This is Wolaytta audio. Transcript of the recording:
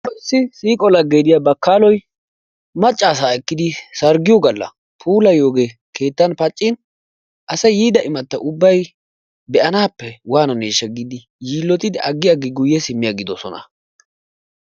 Tawu issi siiqo lagge diya baakkaloy maccasaa ekkidi sarggiyo galla puulayiyoogee keettan paccin asay yiida imata ubbay be'anaappe waananeesha giidi yilottidi agi agi guye simi agidosonna.